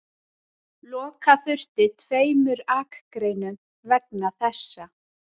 Loka þurfti tveimur akreinum vegna þessa